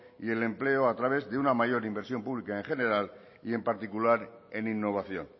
y el empleo a través de una mayor inversión pública en general y en particular en innovación